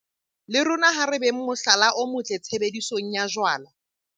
Le rona ha re beng mohlala o motle tshebedisong ya jwala.